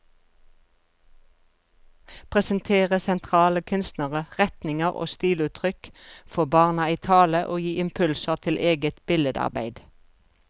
Presentere sentrale kunstnere, retninger og stiluttrykk, få barna i tale og gi impulser til eget billedarbeid.